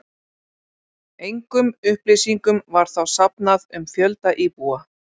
Engum upplýsingum var þá safnað um fjölda íbúa.